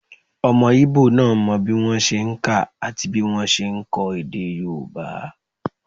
Ọmọ íbò náà mọ bí wọ́n ṣe n kà àti bí wọ́n ṣe n kọ èdè yóòbá